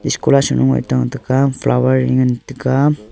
scholar saloe tengan taiga flower e ngan taiga.